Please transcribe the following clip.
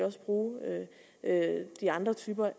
også bruge de andre typer